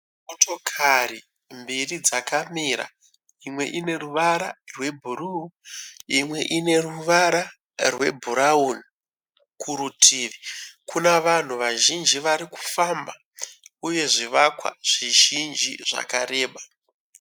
Motokari mbiri dzakamira. Imwe ine ruvara rwebhuruu imwe ruvara rwebhurauni kurutivi kuna vanhu vazhinji vari kufamba uye zvivakwa zvizhinji zvakareba.